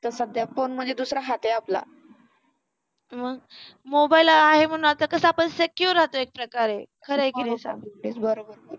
तर सध्या फोन म्हणजे दुसरा हात आहे आपला मग मोबाईल आहे म्हणून आत्ता कसा आपण secure राहतो एक प्रकारे खरं आहे की नाही सांग